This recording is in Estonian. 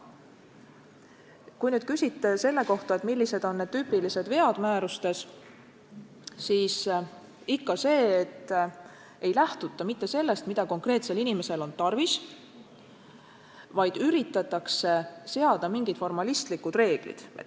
Kui te küsite selle kohta, millised on tüüpilised vead määrustes, siis põhiline on see, et ei lähtuta mitte sellest, mida konkreetsel inimesel on tarvis, vaid üritatakse seada mingid formaalsed reeglid.